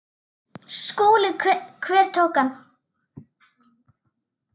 SKÚLI: Hverjir tóku hann?